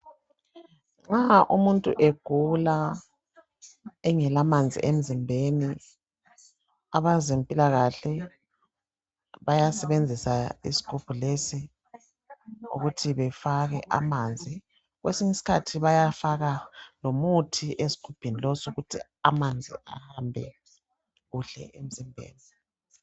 nxa umuntu egula engela manzi emzimbeni abezempilakahle bayasebenzisa isigubhu lesi ukuthi befake amanzi kwesinye isikhathi bayafaka lomuthi amanzi ahambe kuhle emzimbeni